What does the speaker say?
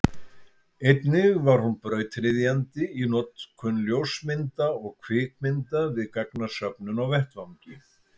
einnig var hún brautryðjandi í notkun ljósmynda og kvikmynda við gagnasöfnun á vettvangi